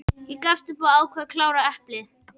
Ég gafst upp og ákvað að klára eplið.